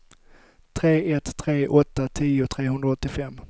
tre ett tre åtta tio trehundraåttiofem